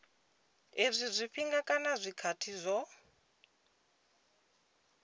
izwi zwifhinga kana zwikhathi zwo